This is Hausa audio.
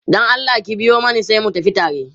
Dan Allah ki biyo Mani sai mu tafi tare